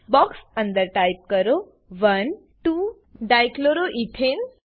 box અંદર type કરો 12 dichloroethane